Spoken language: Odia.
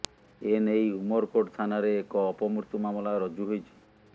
ଏନେଇ ଉମରକୋଟ ଥାନାରେ ଏକ ଅପମୃତ୍ୟୁ ମାମଲା ରୁଜୁ ହୋଇଛି